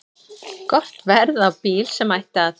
Gott verð á bíl sem ætti að